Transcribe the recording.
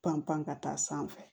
Panpan ka taa sanfɛ